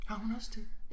Har hun også det